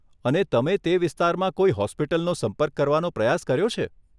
અને તમે તે વિસ્તારમાં કોઈ હોસ્પિટલનો સંપર્ક કરવાનો પ્રયાસ કર્યો છે?